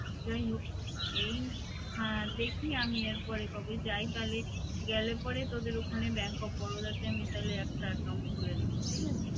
যাই হোক, এই দেখি আমি এরপরে কবে যাই তাহলে গেলে পরে তোদের ওখানে bank of Baroda তে আমি তাহলে একটা account খুলে নিব এই আরকি